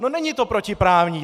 No není to protiprávní!